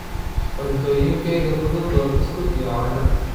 Cuntooyinkayga fudud waa buskud iyo caano.